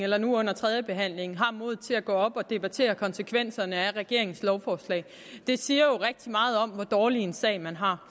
eller nu under tredjebehandlingen har haft modet til at gå op og debattere konsekvenserne af regeringens lovforslag det siger jo rigtig meget om hvor dårlig en sag man har